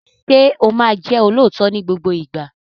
Ṣé o máa jẹ́ olóòótọ́ ní gbogbo ìgbà?